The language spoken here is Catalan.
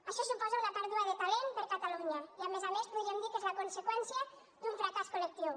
això suposa una pèrdua de talent per a catalunya i a més a més podríem dir que és la conseqüència d’un fracàs col·lectiu